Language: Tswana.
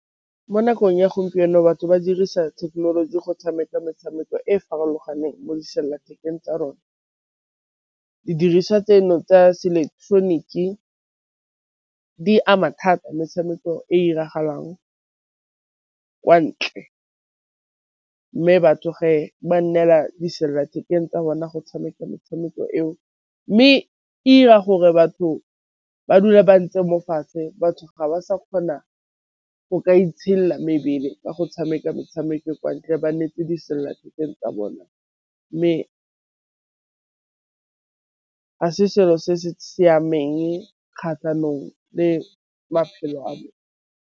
Mo nakong ya gompieno batho ba dirisa thekenoloji go tshameka metshameko e e farologaneng mo disellathekeng tsa rona, di diriswa tseno tsa se ileketeroniki di ama thata metshameko e 'iragalang kwa ntle, mme batho fa ba neela disellathekeng tsa rona go tshameka metshameko eo mme e 'ira gore batho ba dula ba ntse mo fatshe, batho ga ba sa kgona go ka itshedila mebele ka go tshameka motshameko kwa ntle ba nnetse disellathekeng tsa bona mme ga se selo se se siameng kgatlhanong le maphelo .